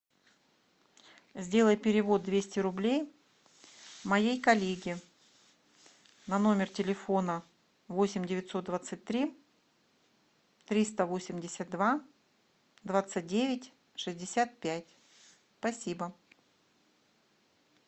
сделай перевод двести рублей моей коллеге на номер телефона восемь девятьсот двадцать три триста восемьдесят два двадцать девять шестьдесят пять спасибо